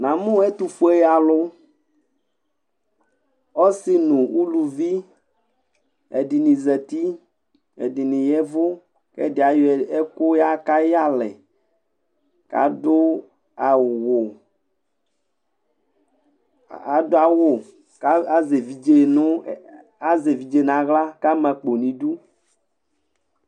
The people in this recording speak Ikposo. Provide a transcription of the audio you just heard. Namʋ ɛtʋfue alʋ ɔsi nʋ ʋlʋvi ɛdini zati ɛdini ya ɛvʋ kʋ ɛdi ayɔ ɛkʋ yaka ayʋ iyalɛ kʋ adʋ awʋ kʋ azɛ evidze nʋ aɣla kʋ ama akpo nʋ idʋ